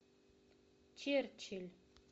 черчилль